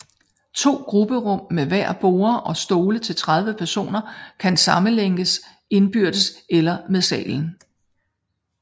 To grupperum med hver borde og stole til 30 personer kan sammelægges indbyrdes eller med salen